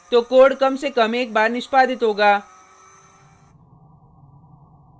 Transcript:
तो कोड कम से कम एक बार निष्पादित होगा